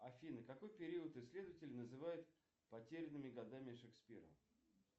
афина какой период исследователи называют потерянными годами шекспира